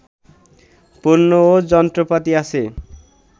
পণ্য ও যন্ত্রপাতি আছে